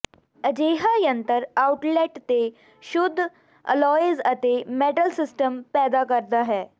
ਅਜਿਹਾ ਯੰਤਰ ਆਉਟਲੈਟ ਤੇ ਸ਼ੁੱਧ ਅਲੌਇਜ਼ ਅਤੇ ਮੈਟਲ ਸਿਮਟਸ ਪੈਦਾ ਕਰਦਾ ਹੈ